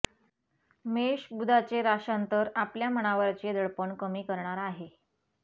मेष बुधाचे राश्यांतर आपल्या मनावरचे दडपण कमी करणार आहे